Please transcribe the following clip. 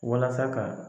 Walasa ka